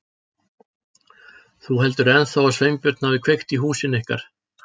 Þú heldur þá ennþá að Sveinbjörn hafi kveikt í húsinu ykkar?